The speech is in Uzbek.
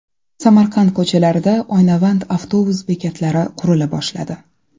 Samarqand ko‘chalarida oynavand avtobus bekatlari qurila boshladi.